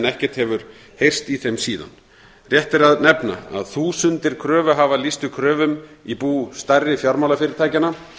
ekkert hefur heyrst í þeim síðan rétt er að nefna að þúsundir kröfuhafa lýstu kröfum í bú stærri fjármálafyrirtækjanna